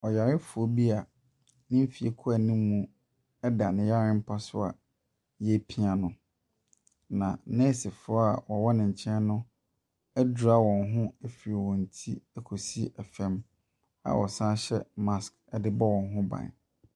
Ɔyarefoɔ bi a ne mfeɛ kɔ anim da ne yarempa so a wɔrepia no, na nɛɛsefoɔ a wɔwɔ ne kyɛn no adura wɔn ho afiri wɔn ti de kɔsi fam a wɔsane hyɛ mask de bɔ wɔn ho ban.